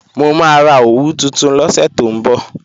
Mo máa ra òwú tuntun lọ́sẹ̀ tó ń bọ̀